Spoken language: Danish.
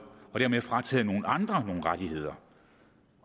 og dermed frataget nogle andre nogle rettigheder